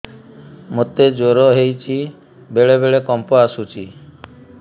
ମୋତେ ଜ୍ୱର ହେଇଚି ବେଳେ ବେଳେ କମ୍ପ ଆସୁଛି